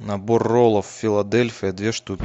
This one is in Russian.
набор роллов филадельфия две штуки